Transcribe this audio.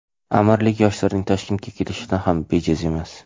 Amirlik yoshlarining Toshkentga kelishi ham bejiz emas.